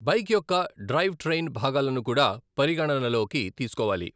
Bike యొక్క drive train భాగాలను కూడా పరిగణనలోకి తీసుకోవాలి.